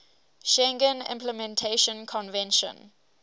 schengen implementation convention